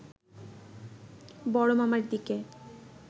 বড়মামার দিকে